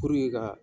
ka